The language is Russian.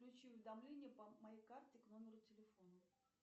включи уведомления по моей карте к номеру телефона